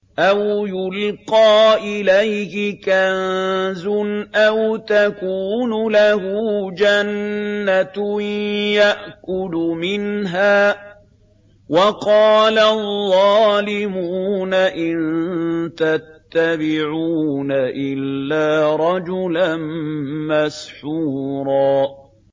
أَوْ يُلْقَىٰ إِلَيْهِ كَنزٌ أَوْ تَكُونُ لَهُ جَنَّةٌ يَأْكُلُ مِنْهَا ۚ وَقَالَ الظَّالِمُونَ إِن تَتَّبِعُونَ إِلَّا رَجُلًا مَّسْحُورًا